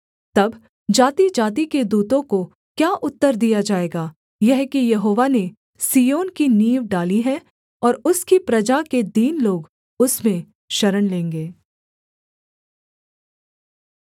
तब जातिजाति के दूतों को क्या उत्तर दिया जाएगा यह कि यहोवा ने सिय्योन की नींव डाली है और उसकी प्रजा के दीन लोग उसमें शरण लेंगे